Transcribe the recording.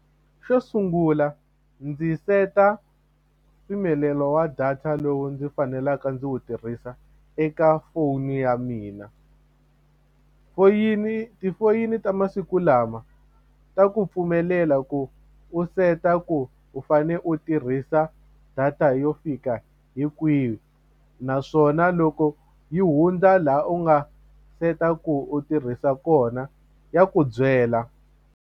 Xo sungula ndzi seta mpimelelo wa data lowu ndzi faneleke ndzi wu tirhisa eka foni ya mina foyini tifoyini ta masiku lama u ta ku pfumelela ku u seta ku u fane u tirhisa data yo fika hi kwihi naswona loko yi hundza laha u nga set a ku u tirhisa kona ya ku byela.